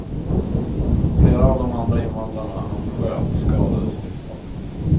Flera av de andra invandrarna han sköt skadades livsfarligt.